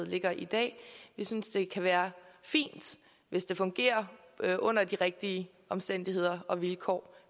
ligger i dag vi synes det kan være fint hvis det fungerer under de rigtige omstændigheder og vilkår